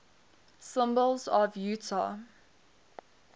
symbols of utah